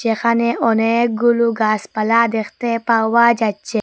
এখানে অনেকগুলু গাসপালা দেখতে পাওয়া যাচ্ছে।